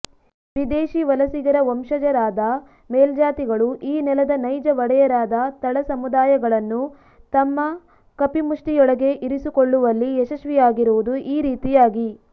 ವಿದೇಶೀ ವಲಸಿಗರ ವಂಶಜರಾದ ಮೇಲ್ಜಾತಿಗಳು ಈ ನೆಲದ ನೈಜ ಒಡೆಯರಾದ ತಳಸಮುದಾಯಗಳನ್ನು ತಮ್ಮ ಕಪಿಮುಷ್ಟಿಯೊಳಗೆ ಇರಿಸಿಕೊಳ್ಳುವಲ್ಲಿ ಯಶಸ್ವಿಯಾಗಿರುವುದು ಈ ರೀತಿಯಾಗಿ